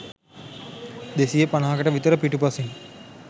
දෙසිය පණහකට විතර පිටුපසින්.